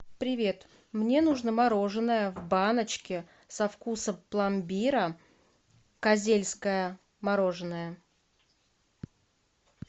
привет мне нужно мороженое в баночке со вкусом пломбира козельское мороженое